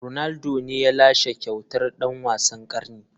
Ronaldo ne ya lashe kyautar dan wasan karni.